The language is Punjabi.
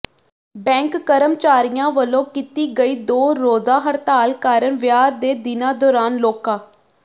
ਬੈਂਕ ਕਰਮਚਾਰੀਆਂ ਵੱਲੋਂ ਕੀਤੀ ਗਈ ਦੋ ਰੋਜ਼ਾ ਹੜਤਾਲ ਕਾਰਨ ਵਿਆਹ ਦੇ ਦਿਨਾਂ ਦੌਰਾਨ ਲੋਕਾਂ